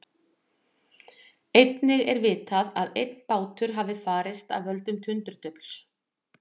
Einnig er vitað að einn bátur hafi farist af völdum tundurdufls.